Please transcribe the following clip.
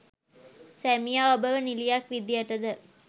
සැමියා ඔබව නිළියක් විදියට ද